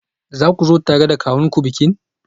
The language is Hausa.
Za ku zo tare da kawunku bikin?